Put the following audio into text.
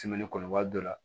kɔnɔbara dɔ la